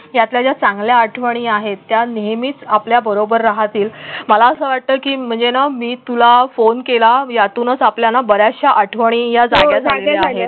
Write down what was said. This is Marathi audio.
त्याच्या चांगल्या आठवणी आहेत. त्या नेहमीच आपल्याबरोबर राहतील. मला असं वाटतं की म्हणजे ना मी तुला फोन केला यातूनच आपल्याला बर् याचशा आठवणी या जागे झाले